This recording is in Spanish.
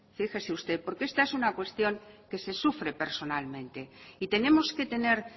fíjese usted porque esta es una cuestión que se sufre personalmente y tenemos que tener